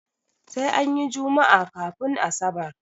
Sai anyi jummaa kafun asabar